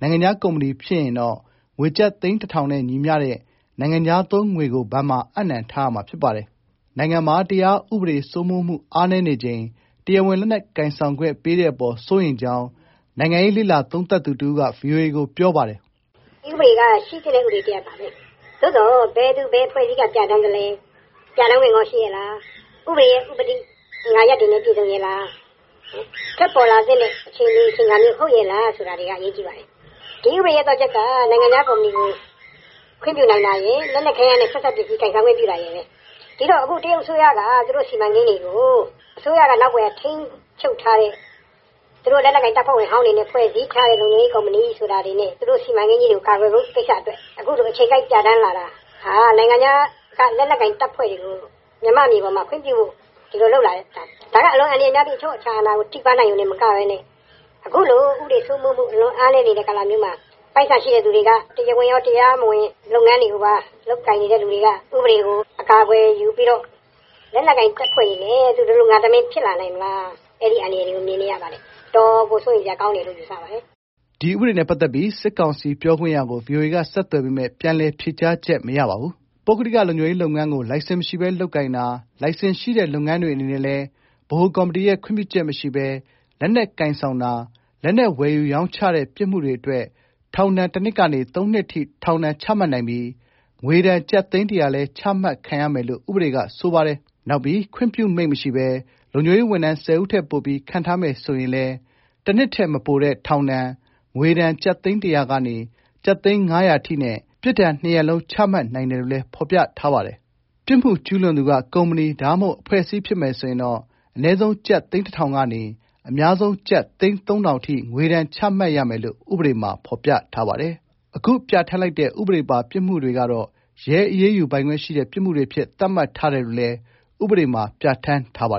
နိုင်ငံခြား ကုမ္ပဏီ ဖြစ်ရင်တော့ ငွေကျပ် သိန်း ၁၀၀၀ နဲ့ ညီမျှတဲ့ နိုင်ငံခြား သုံးငွေကို ဘဏ်မှာ အပ်နှံထားရမှာ ဖြစ်ပါတယ်။ နိုင်ငံမှာ တရားဥပဒေ စိုးမိုးမှု အားနည်းနေချိန် တရားဝင် လက်နက်ကိုင်ဆောင်ခွင့် ပေးတဲ့အပေါ် စိုးရိမ်ကြောင်း နိုင်ငံရေး လေ့လာ သုံးသပ်သူ တဦးက ဗွီအိုအေကို ပြောပါတယ်။ "ဒီဥပဒေကရှိသင့်တဲ့ဥပဒေပါဘဲ။ ဒါပေမယ့်ဘယ်အဖွဲ့ကပြဌာန်းလဲ ပြဌာန်းခွင့်ရှိလား ဥပဒေဥပဒိအင်္ဂါရပ်နဲ့ပြည့်စုံရဲ့လား ထွက်ပေါ်လာတဲ့အခြေအနေအချိန်အခါ ရောဟုတ်ရဲ့လားဆိုတာက အရေးကြီးပါတယ်။ ဒီဥပဒေသော့ချက်က လက်နက်ကိုင်ဆောင်ခွင့်ပြုတာရယ် နိုင်ငံခြားကုမ္ပဏီကိုခွင့်ပြုတာရယ်ဘဲ။ ဒီတော့ တရုတ်အစိုးရက သူတို့စီမံကိန်းတွေကိုသူတို့နောက်ကွယ်ကထိန်းနေတဲ့ သူတို့လက်နက်ကိုင်တပ်ဖွဲ့ဝင်ဟောင်းတွေနဲ့ဖွဲ့ထားတဲ့ သူတို့ကုမ္ပဏီတွေနဲ့သူတို့ စီမံကိန်း တွေကိုကာကွယ်ဖို့လုပ်တဲ့အချိန် အချိန်ကိုက်ပြဌာနိးလာတာဟာမြန်မာ့မြေပေါ်မှာ နိုင်ငံခြားလက်နက်ကိုင်တွေကိုခွင့်ပြုဖို့လုပ်လာတာ။ ဒါကတော့ အလွန်အန္တရာယ်များပြီးအချုပ်အခြာအာဏာကိုထိပါးလာနိုင်ယုံတင်မကဘဲနဲ့ အခုလိုဥပဒေစိုးမိုးမှု မရှိတဲ့ အချိန်မှာပိုက်ဆံရှိသူတွေက တရားဝင်ကောတရား မဝင်ကော လုပ်ငန်းလုပ်နေသူတွေက ဥပဒေကိုအကာအကွယ်ယူ လက်နက်ကိုင်အဖွဲ့တွေနဲ့သူတလူငါတမင်းဖြစ်လာနိုင်မလား အဲဒီအန္တရာယ်ကိုမြင်နေရတယ် တော်တော်စိုးရိမ်စရာကောင်းတယ်။" ဒီဥပဒေနဲ့ ပတ်သက်ပြီး စစ်ကောင်စီ ပြောခွင့်ရကို ဗွီအိုအေက ဆက်သွယ်ပေမဲ့ ပြန်လည် ဖြေကြားချက် မရပါဘူး။ ပုဂ္ဂလိကလုံခြုံရေးလုပ်ငန်းကို လိုင်စင်မရှိဘဲလုပ်ကိုင်တာ၊ လိုင်စင်ရှိတဲ့ လုပ်ငန်းတွေအနေနဲ့လည်း ဗဟိုကော်မတီရဲ့ ခွင့်ပြုချက်မရှိဘဲ လက်နက်ကိုင် ဆောင်တာ၊ လက်နက်ဝယ်ယူရောင်းချတဲ့ ပြစ်မှုတွေအတွက် ထောင်ဒဏ် ၁ နှစ် ကနေ ၃ နှစ်အထိ ထောင်ဒဏ်ချမှတ်နိုင်ပြီး ငွေဒဏ် ကျပ်သိန်းတစ်ရာလည်း ချမှတ်ခံရမယ်လို့ ဥပဒေကဆိုပါတယ်။ နောက်ပြီးခွင့်ပြုမိန့် မရှိဘဲ လုံခြုံရေးဝန်ထမ်း ၁၀ ဦးထက် ပိုပြီး ခန့်ထားမယ်ဆိုရင် လည်း တစ်နှစ်ထက် မပိုတဲ့ ထောင်ဒဏ်၊ ငွေဒဏ် ကျပ်သိန်း တစ်ရာမှ ကျပ်သိန်း ငါးရာထိ နဲ့ ဒဏ်နှစ်ရပ်လုံး ချမှတ်နိုင်တယ်လို့ ဖော်ပြထားပါတယ်။ ပြစ်မှုကျူးလွန်သူက ကုမ္ပဏီ ဒါမှမဟုတ် အဖွဲ့အစည်းဖြစ်မယ်ဆိုရင်တော့ အနည်းဆုံးကျပ်သိန်း ၁,၀၀၀ ကနေ အများဆုံး ကျပ်သိန်း ၃,၀၀၀ အထိ ငွေဒဏ်ချမှတ်ရမယ်လို့ ဥပဒေထဲမှာ ဖော်ပြထားပါတယ်။အခုပြဋ္ဌာန်းလိုက်တဲ့ ဥပဒေပါ ပြစ်မှုတွေကတော့ ရဲအရေးယူပိုင်ခွင့်ရှိတဲ့ ပြစ်မှုတွေအဖြစ် သတ်မှတ်ထားတယ်လို့ လည်း ဥပဒေမှာ ပြဋ္ဌာန်းထားပါတယ